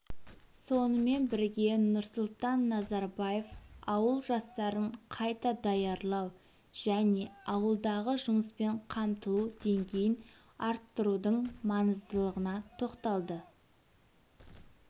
сонымен бірге нұрсұлтан назарбаев ауыл жастарын қайта даярлау және ауылдағы жұмыспен қамтылу деңгейін арттырудың маңыздылығына тоқталды